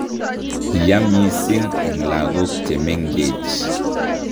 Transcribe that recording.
Yaa mising eng' lagok chemengech